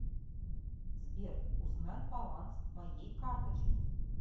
сбер узнать баланс моей карточки